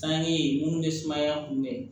San ye mun ye sumaya kunbɛ